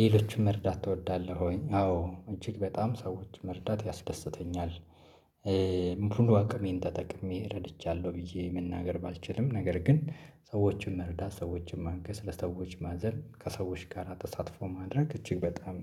ሌሎችን መርዳት ትወዳለህ ውይ? አዎ እጅግ በጣም ሰዎች መርዳት ያስደስተኛል። ሙሉ አቅሜን ተጠቅሜ ረድቻለሁ ብዬ መናገር ባልችልም ነገር ግን ሰዎችን መርዳት ሰዎችን ማገዝ ለሰዎች ማዘን ከሰዎች ጋር ተሳትፎ ማድረግ እጅግ በጣም